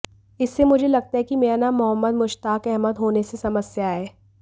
इससे मुझे लगता है कि मेरा नाम मोहम्मद मुश्ताक अहमद होने से समस्या है